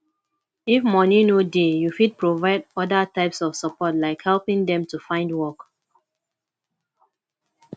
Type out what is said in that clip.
if moni no dey you fit provide oda types of support like helping dem to find work